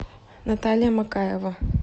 наталья макаева